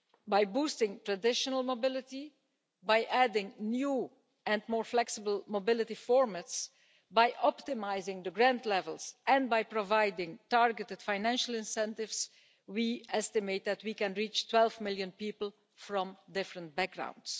By boosting traditional mobility, by adding new and more flexible mobility formats, by optimising the grant levels, and by providing targeted financial incentives, we estimate that we can reach 12 million people from different backgrounds.